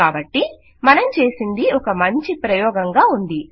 కాబట్టి మనం చేసినది ఒక మంచి ప్రయోగంగా ఉంది